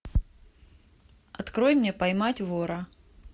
открой мне поймать вора